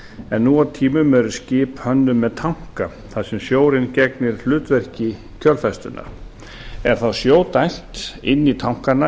en nú á tímum eru skip hönnuð með tanka þar sem sjórinn gegnir hlutverki kjölfestunnar er þá sjó dælt inn í tankana